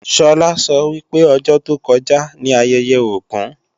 Sọlá sọ wípé ọjọ́ tó kọjá ní ayẹyẹ Ògún